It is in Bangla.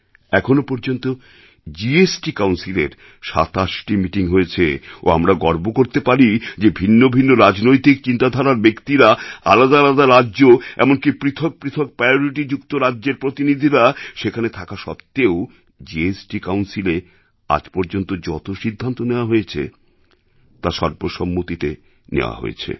এখনও পর্যন্ত জিএসটি কাউন্সিলের ২৭টি মিটিং হয়েছে ও আমরা গর্ব করতে পারি যে ভিন্ন ভিন্ন রাজনৈতিক চিন্তাধারার ব্যক্তিরা আলাদা আলাদা রাজ্য এমনকি পৃথক পৃথক priorityযুক্ত রাজ্যের প্রতিনিধিরা সেখানে থাকা সত্ত্বেও জিএসটি কাউন্সিলএ আজ পর্যন্ত যত সিদ্ধান্ত নেওয়া গেছে তা সর্বসম্মতিতে নেওয়া হয়েছে